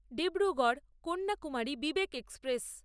Dibrugarh Kanyakumari Vivek express